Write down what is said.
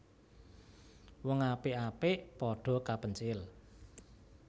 Wong apik apik padha kapencil